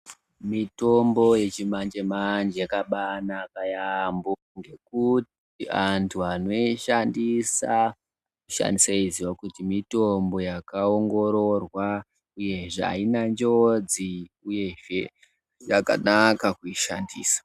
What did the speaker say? Mitombo yechimanje-manje yakabaanaka yaampho. Ngekuti antu anoishandisa anoshandisa eiziya kuti mitombo yakaongororwa, uyezve haina njodzi, uyezve yakanaka kuishandisa.